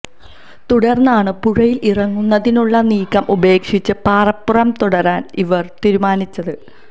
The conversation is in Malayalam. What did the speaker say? തുടർന്നാണ് പുഴയിൽ ഇറങ്ങുന്നതിനുള്ള നീക്കം ഉപേക്ഷിച്ച് പാറപ്പുറത്ത് തുടരാൻ ഇവർ തൂരുമാനിച്ചത്